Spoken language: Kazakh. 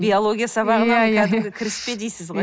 биология сабағына кәдімгі кіріспе дейсіз ғой